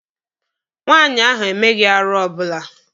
Nwaanyị ahụ emeghị arụ ọbụla.